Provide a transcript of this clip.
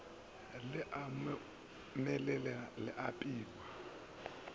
le omelele le a apewa